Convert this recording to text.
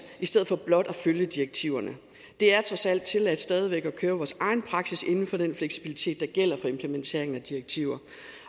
i stedet for blot at følge direktiverne det er trods alt tilladt stadig væk at køre vores egen praksis inden for den fleksibilitet der gælder for implementeringen af direktiver